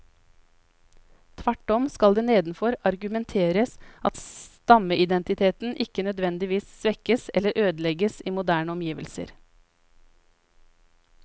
Tvert om skal det nedenfor argumenteres at stammeidentiteten ikke nødvendigvis svekkes eller ødelegges i moderne omgivelser.